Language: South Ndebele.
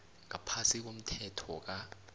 ngaphasi komthetho ka